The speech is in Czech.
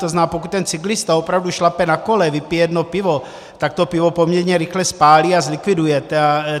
To znamená, pokud ten cyklista opravdu šlape na kole, vypije jedno pivo, tak to pivo poměrně rychle spálí a zlikviduje.